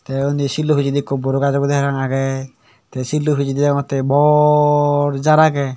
te undi sillu pijendi boroi gaj obo de parapang agey te sillu pijendi degogotte bor jar agey.